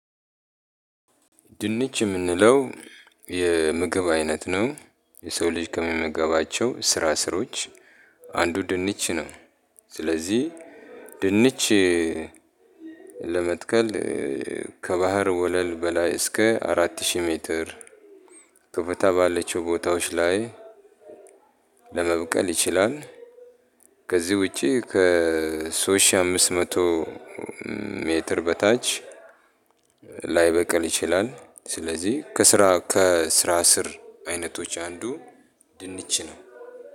ድንች የምንለው የምግብ አይነት ነው የሰው ልጅ ከሚመገባቸው ስራስሮች አንዱ ድንች ነው። ስለዚህ ድንች ለመትከል ከባህር ወለል በላይ እስከ አራት ሺህ ሜትር ከፍታ ባላቸው ቦታዎች ላይ ለመብቀል ይችላል። ከዚህ ውጪ ከሶስት ሺ አምስት መቶ ሜትር በታች ላይበቅል ይችላል። ስለዚህ ከስራ ስር አይነቶች አንዱ ድንች ነው።